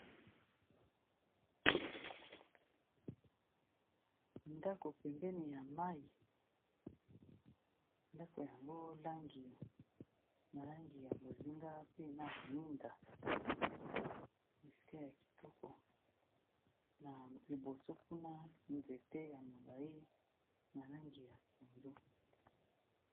Ndako pembeni ya mayi, ndako yango langi na langi ya bozinga pe na ba minda. Bisika ya kitoko, na liboso kuna nzete ya molayi na langi ya pondu.